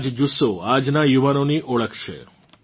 આ જ જુસ્સો આજનાં યુવાનોની ઓળખ છે